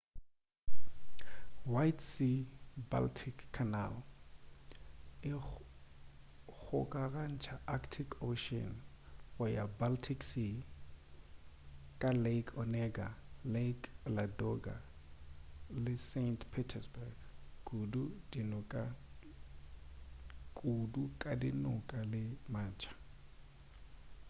white sea-baltic canal e kgokagantša arctic ocean go ya baltic sea ka lake onega lake ladoga le saint petersburg kudu ka dinoka le matsha